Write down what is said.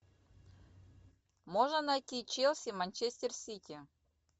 можно найти челси манчестер сити